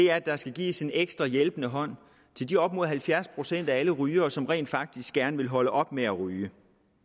er at der skal gives en ekstra hjælpende hånd til de op imod halvfjerds procent af alle rygere som rent faktisk gerne vil holde op med at ryge